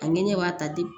A ŋɛɲɛ b'a ta di